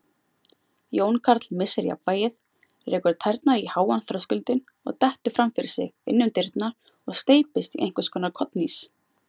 Jón Karl missir jafnvægið, rekur tærnar í háan þröskuldinn og dettur fram fyrir sig inn um dyrnar og steypist í einhvers konar kollhnís.